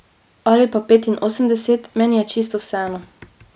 Ali pa petinosemdeset, meni je čisto vseeno.